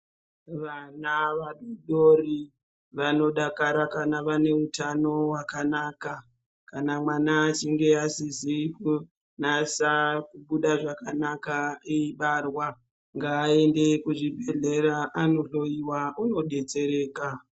Vana vadodori vanodakara kana vane utano hwakanaka. kana mwana achinge asizi kunasa kubuda zvakanaka eibarwa, ngaende kuzvibhedhlera anohloiwa unodetsereka.